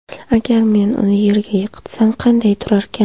Agar men uni yerga yiqitsam, qanday turarkan?